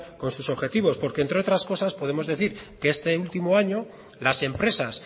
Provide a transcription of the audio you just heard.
con sus objetivos porque entre otras cosas podemos decir que este último año las empresas